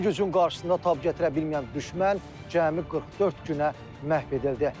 Bu gücün qarşısında tab gətirə bilməyən düşmən cəmi 44 günə məhv edildi.